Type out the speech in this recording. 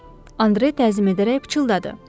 Andre təzim edərək pıçıldadı.